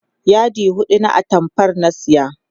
yadi huɗu na atamfar na saya